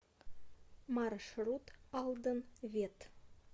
маршрут алдан вет